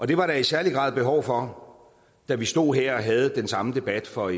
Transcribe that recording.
det var der i særlig grad behov for da vi stod her og havde den samme debat for